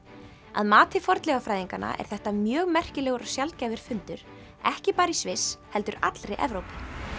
að mati fornleifafræðinganna er þetta mjög merkilegur og sjaldgæfur fundur ekki bara í Sviss heldur allri Evrópu